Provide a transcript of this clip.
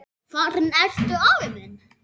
Farinn ertu, afi minn.